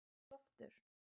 Loftur